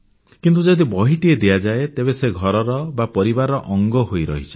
କିନ୍ତୁ ଯଦି ବହିଟିଏ ଦିଆଯାଏ ତେବେ ସେ ଘରର ବା ପରିବାରର ଅଙ୍ଗ ହୋଇ ରହିଯାଏ